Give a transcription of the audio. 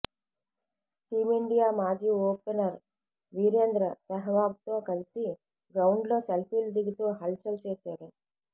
team India మాజీ opener Virender సెహ్వాగ్తో కలిసి గ్రౌండ్లో సెల్పీలు దిగుతూ హల్ చల్ చేశాడు